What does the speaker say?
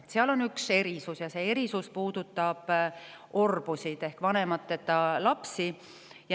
Seal on üks erisus ja see erisus puudutab orbusid ehk vanemateta lapsi.